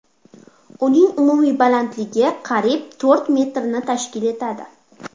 Uning umumiy balandligi qariyb to‘rt metrni tashkil etadi”.